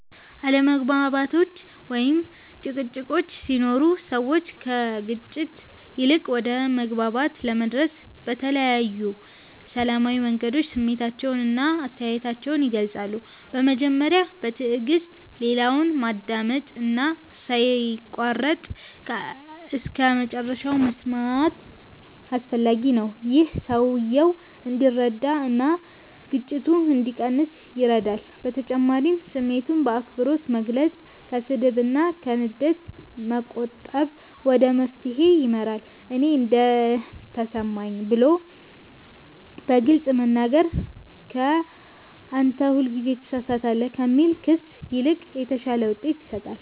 አለመግባባቶች ወይም ጭቅጭቆች ሲኖሩ ሰዎች ከግጭት ይልቅ ወደ መግባባት ለመድረስ በተለያዩ ሰላማዊ መንገዶች ስሜታቸውን እና አስተያየታቸውን ይገልጻሉ። በመጀመሪያ በትዕግስት ሌላውን ማዳመጥ እና ሳይቋረጥ እስከመጨረሻ መስማት አስፈላጊ ነው። ይህ ሰውየው እንዲረዳ እና ግጭቱ እንዲቀንስ ይረዳል በተጨማሪም ስሜትን በአክብሮት መግለጽ፣ ከስድብ እና ከንዴት መቆጠብ ወደ መፍትሄ ይመራል። “እኔ እንዲህ ተሰማኝ” ብሎ በግልጽ መናገር ከ “አንተ ሁልጊዜ ትሳሳታለህ” ከሚል ክስ ይልቅ የተሻለ ውጤት ይሰጣል።